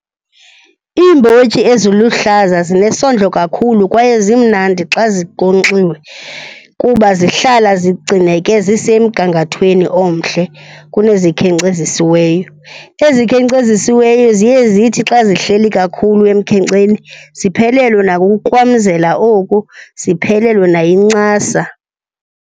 Iimbotyi eziluhlaza zinesondlo kakhulu kwaye zimnandi xa zinkonkxiwe kuba zihlala zigcineke zisemgangathweni omhle kunezikhenkcezisiweyo. Ezikhenkcezisiweyo ziye zithi xa zihleli kakhulu emkhenkceni ziphelelwe nakukukrwamzela oku, ziphelelwe nayincasa.